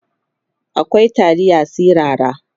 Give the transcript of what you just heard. akwai taliya sirara